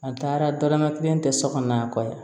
An taara dɔrɔmɛ kelen tɛ sokɔnɔ yan